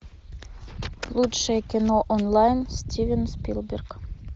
лучшее кино онлайн стивен спилберг